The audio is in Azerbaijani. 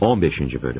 15-ci bölüm.